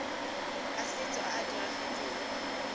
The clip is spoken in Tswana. a setso a a diragetseng